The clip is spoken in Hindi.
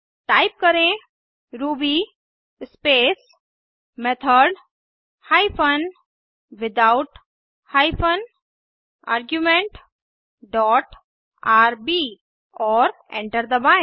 टाइप करें Ruby space method hyphen without hyphen argument dot R B और एंटर दबाएं